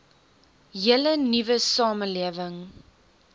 hele nuwe samelewing